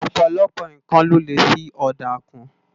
Òpòlòpò nkán lò lé fi òdá kún